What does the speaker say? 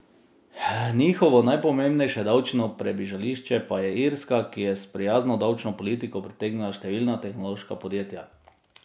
Njihovo najpomembnejše davčno pribežališče pa je Irska, ki je s prijazno davčno politiko pritegnila številna tehnološka podjetja.